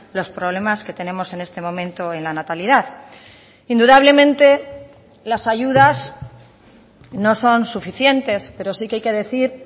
los problemas que tenemos en este momento en la natalidad indudablemente las ayudas no son suficientes pero sí que hay que decir